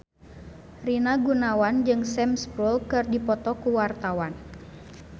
Rina Gunawan jeung Sam Spruell keur dipoto ku wartawan